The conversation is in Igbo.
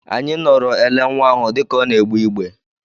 Anyị nọọrọ ele nwa ahụ dịka ọ na-egbe igbe.